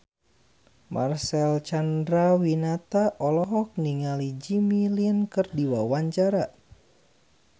Marcel Chandrawinata olohok ningali Jimmy Lin keur diwawancara